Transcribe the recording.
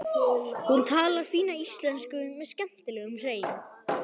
Hún talar fína íslensku með skemmtilegum hreim.